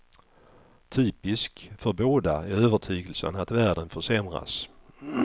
Typisk för båda är övertygelsen att världen försämras.